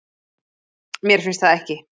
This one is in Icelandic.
Mér finnst það ekki